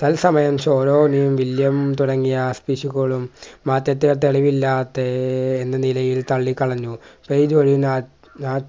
തൽസമയം ശോറോണി വില്ല്യം തുടങ്ങിയ പിശുക്കളും മാറ്റത്തിന് തെളിവില്ലാത്തെ ഏർ എന്ന നിലയിൽ തള്ളിക്കളഞ്ഞു പെയ്തൊഴിഞ്ഞാൽ രാ ആഹ്